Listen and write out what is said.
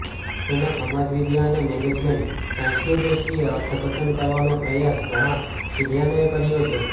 તેનો સમાજવિદ્યા અને મેનેજમેન્ટ સાયન્સની દૃષ્ટિએ અર્થઘટન કરવાનો પ્રયાસ ઘણા વિદ્વાનોએ કર્યો છે